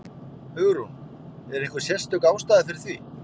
Hugrún: Er einhver sérstök ástæða fyrir því?